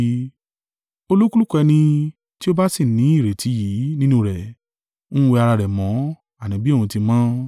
Olúkúlùkù ẹni tí ó ba sì ní ìrètí yìí nínú rẹ̀, ń wẹ ara rẹ̀ mọ́, àní bí òun ti mọ́.